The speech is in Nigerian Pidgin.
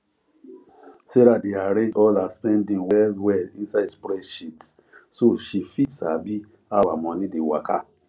sarah dey arrange all her spending well well inside spreadsheet so she fit sabi how her money dey waka